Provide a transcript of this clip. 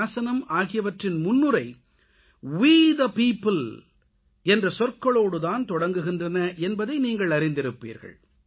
சாசனம் ஆகியவற்றின் முன்னுரை மக்களாகிய நாம் வே தே பியோப்பிள் என்ற சொற்களோடு தான் தொடங்குகின்றன என்பதை நீங்கள் அறிந்திருப்பீர்கள்